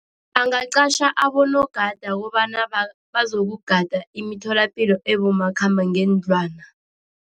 Angaqatjha abonogada kobana bazokugada imitholapilo ebomakhambangendlwana.